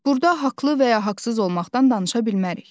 Burda haqlı və ya haqsız olmaqdan danışa bilmərik.